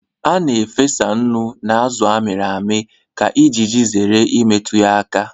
A na-efesa nnu na azụ a mịrị amị ka iji zere imetụ ya aka